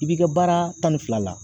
I b'i ka baara tan ni fila la.